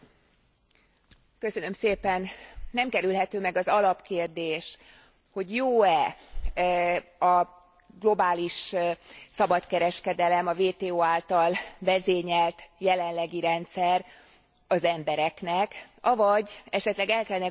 Nem kerülhető meg az alapkérdés, hogy jó e a globális szabadkereskedelem, a WTO által vezényelt jelenlegi rendszer az embereknek, avagy esetleg el kellene gondolkodni egy új rendező elvnek,